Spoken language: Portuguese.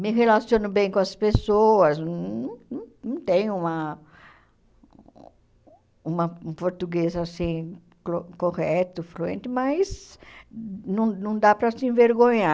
me relaciono bem com as pessoas, não não não tenho uma uma um português assim clo correto, fluente, mas não não dá para se envergonhar.